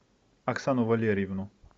оксану валерьевну